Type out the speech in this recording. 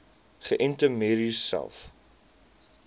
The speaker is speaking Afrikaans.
geënte merries selfs